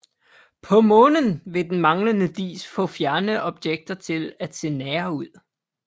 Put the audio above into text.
På Månen vil den manglende dis få fjerne objekter til at se nære ud